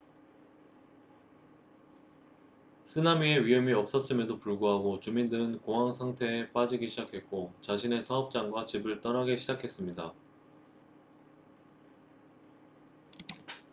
쓰나미의 위험이 없었음에도 불구하고 주민들은 공황 상태에 빠지기 시작했고 자신의 사업장과 집을 떠나기 시작했습니다